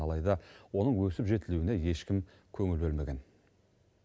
алайда оның өсіп жетілуіне ешкім көңіл бөлмеген